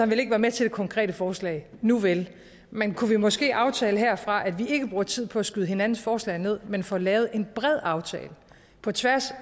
vil ikke være med til det konkrete forslag nuvel men kunne vi måske aftale herfra at vi ikke bruger tid på at skyde hinandens forslag ned men får lavet en bred aftale på tværs